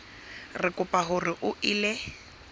re kopa hore o ele